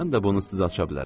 Mən də bunu sizə aça bilərəm.